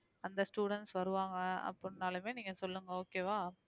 அந்த students வருவாங்க அப்படினாலுமே நீங்க சொல்லுங்க okay வா